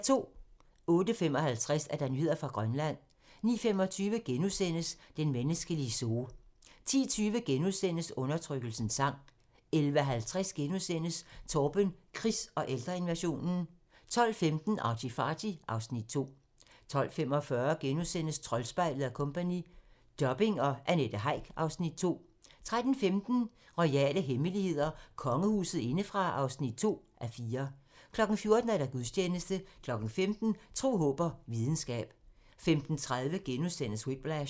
08:55: Nyheder fra Grønland 09:25: Den menneskelige zoo * 10:20: Undertrykkelsens sang * 11:50: Torben Chris og ældreinvasionen * 12:15: ArtyFarty (Afs. 2) 12:45: Troldspejlet & Co - Dubbing og Annette Heick (Afs. 2) 13:15: Royale hemmeligheder: Kongehuset indefra (2:4) 14:00: Gudstjeneste 15:00: Tro, håb og videnskab 15:30: Whiplash *